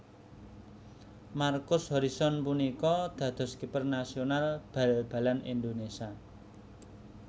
Markus Horison punika dados kiper nasional bal balan Indonésia